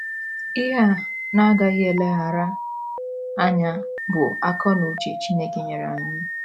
Ihe a na - agaghị eleghara anya bụ akọ na uche Chineke nyere anyị.